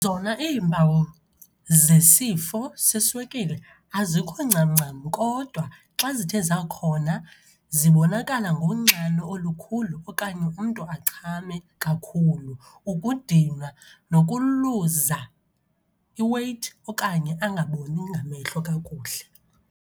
Zona iimpawu zesifo seswekile azikho ncam ncam. Kodwa xa zithe zakhona zibonakala ngonxano olukhulu okanye umntu achame kakhulu, ukudinwa nokuluza i-weight okanye angaboni ngamehlo kakuhle.